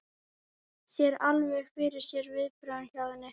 Sér alveg fyrir sér viðbrögðin hjá henni.